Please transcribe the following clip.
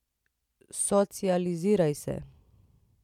Socializiraj se.